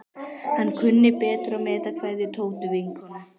Hann kunni betur að meta kveðjur Tótu vinnukonu.